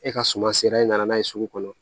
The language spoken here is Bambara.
E ka suma sera i nana n'a ye sugu kɔnɔ